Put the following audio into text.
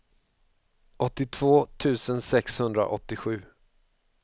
åttiotvå tusen sexhundraåttiosju